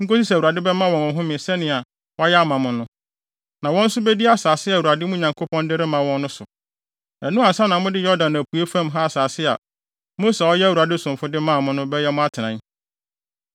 nkosi sɛ Awurade bɛma wɔn ɔhome sɛnea wayɛ ama mo no. Na wɔn nso bedi asase a Awurade, mo Nyankopɔn de rema wɔn no so. Ɛno ansa na mode Yordan apuei fam ha asase a Mose a ɔyɛ Awurade somfo de maa mo no, bɛyɛ mo atenae.”